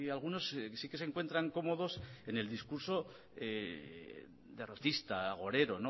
algunos sí que se encuentran cómodos en el discurso derrotista agorero